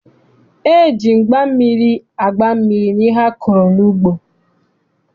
E ji mgba mmiri agba mmiri n'ihe a kọrọ n'ugbo.